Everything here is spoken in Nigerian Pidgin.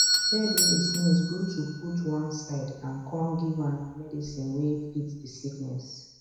bird way dey sneeze good to put one side and come give am medicine way fit the sickness